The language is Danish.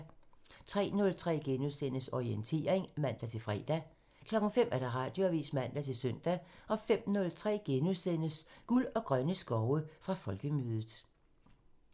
03:03: Orientering *(man-fre) 05:00: Radioavisen (man-søn) 05:03: Guld og grønne skove: Fra Folkemødet *